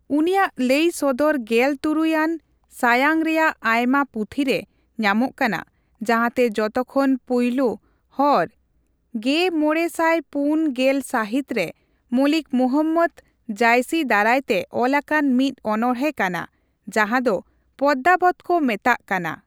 ᱩᱱᱤᱭᱟᱜ ᱞᱟᱹᱭ ᱥᱚᱫᱚᱨ ᱜᱮᱞ ᱛᱩᱨᱩᱭ ᱟᱱ ᱥᱟᱭᱟᱝ ᱨᱮᱭᱟᱜ ᱟᱭᱢᱟ ᱯᱩᱛᱷᱤ ᱨᱮ ᱧᱟᱢᱚᱜ ᱠᱟᱱᱟ, ᱡᱟᱸᱦᱟᱛᱮ ᱡᱚᱛᱚᱠᱷᱚᱱ ᱯᱩᱭᱞᱳ ᱦᱚᱨ ᱑᱕᱔᱐ ᱥᱟᱹᱦᱤᱛ ᱨᱮ ᱢᱚᱞᱤᱠ ᱢᱩᱦᱚᱢᱢᱚᱫ ᱡᱟᱭᱥᱤ ᱫᱟᱨᱟᱭ ᱛᱮ ᱚᱞᱟᱠᱟᱱ ᱢᱤᱫ ᱚᱱᱚᱲᱦᱮᱸ ᱠᱟᱱᱟ ᱡᱟᱸᱦᱟᱫᱚ ᱯᱚᱫᱢᱟᱣᱚᱛ ᱠᱚ ᱢᱮᱛᱟᱜ ᱠᱟᱱᱟ᱾